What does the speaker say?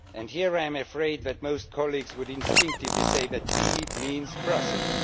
Here, I am afraid that most colleagues would instinctively say that b' means Brussels.